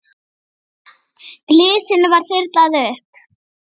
Glysinu var þyrlað upp.